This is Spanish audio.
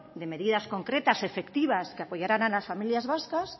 de medidas concretas y efectivas que apoyaran a las familias vascas